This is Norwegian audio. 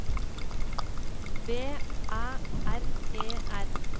B Æ R E R